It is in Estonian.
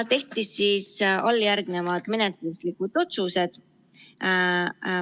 Tehti alljärgnevad menetluslikud otsused.